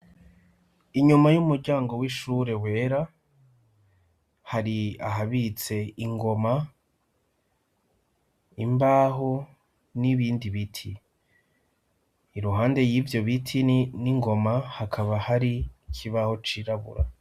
Inyuma y'umuryango w'ishure wera, hari ahabitse ingoma, imbaho n'ibindi biti, Iruhande y'ivyo biti n'ingoma hakaba hari ikibaho cirabura.